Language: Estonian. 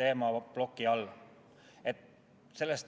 teemaplokki.